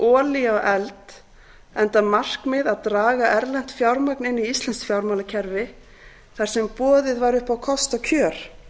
á eld enda markmið að draga erlent fjármagn inn í íslenskt fjármálakerfi þar sem boðið var upp á kostakjör